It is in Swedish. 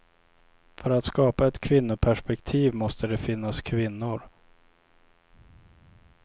För att skapa ett kvinnoperspektiv måste det finnas kvinnor.